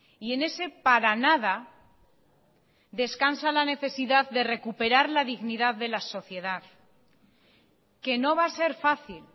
y en ese para nada descansa la necesidad de recuperar la dignidad de la sociedad que no va a ser fácil